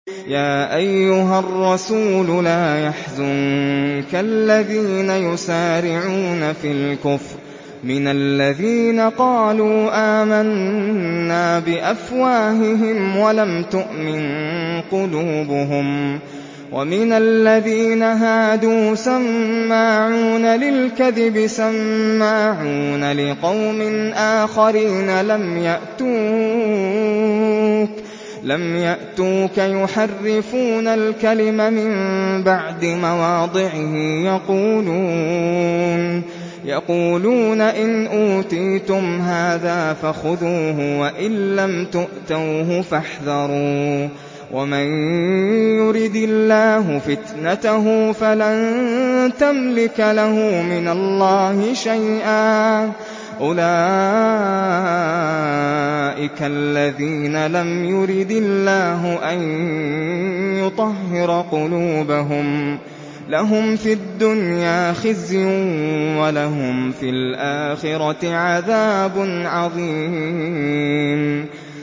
۞ يَا أَيُّهَا الرَّسُولُ لَا يَحْزُنكَ الَّذِينَ يُسَارِعُونَ فِي الْكُفْرِ مِنَ الَّذِينَ قَالُوا آمَنَّا بِأَفْوَاهِهِمْ وَلَمْ تُؤْمِن قُلُوبُهُمْ ۛ وَمِنَ الَّذِينَ هَادُوا ۛ سَمَّاعُونَ لِلْكَذِبِ سَمَّاعُونَ لِقَوْمٍ آخَرِينَ لَمْ يَأْتُوكَ ۖ يُحَرِّفُونَ الْكَلِمَ مِن بَعْدِ مَوَاضِعِهِ ۖ يَقُولُونَ إِنْ أُوتِيتُمْ هَٰذَا فَخُذُوهُ وَإِن لَّمْ تُؤْتَوْهُ فَاحْذَرُوا ۚ وَمَن يُرِدِ اللَّهُ فِتْنَتَهُ فَلَن تَمْلِكَ لَهُ مِنَ اللَّهِ شَيْئًا ۚ أُولَٰئِكَ الَّذِينَ لَمْ يُرِدِ اللَّهُ أَن يُطَهِّرَ قُلُوبَهُمْ ۚ لَهُمْ فِي الدُّنْيَا خِزْيٌ ۖ وَلَهُمْ فِي الْآخِرَةِ عَذَابٌ عَظِيمٌ